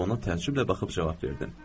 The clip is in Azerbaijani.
Ona təəccüblə baxıb cavab verdim.